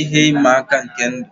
ihe ịma aka nke ndụ.